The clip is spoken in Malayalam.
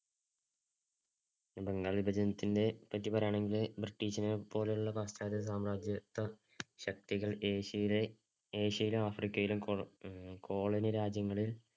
ബംഗാള്‍ വിഭജനത്തിനെ പറ്റി പറയുകയാണെങ്കില്‍ ബ്രിട്ടീഷിനെ പോലെയുള്ള പാശ്ചാത്യ സാമ്രാജ്യത്വ ശക്തികള്‍ ഏഷ്യയി~ഏഷ്യയിലും, ആഫ്രിക്കയിലും കൊളോ~ colony രാജ്യങ്ങളില്‍